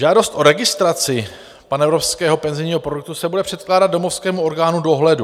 Žádost o registraci panevropského penzijního produktu se bude předkládat domovskému orgánu dohledu.